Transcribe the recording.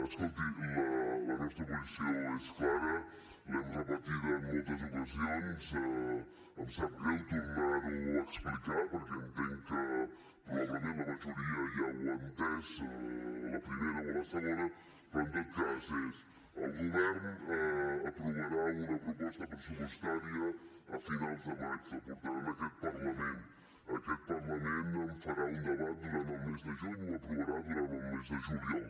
escolti la nostra posició és clara l’hem repetida en moltes ocasions em sap greu tornar ho a explicar perquè entenc que probablement la majoria ja ho ha entès a la primera o a la segona però en tot cas és el govern aprovarà una proposta pressupostària a finals de maig la portarà a aquest parlament aquest parlament en farà un debat durant el mes de juny i ho aprovarà durant el mes de juliol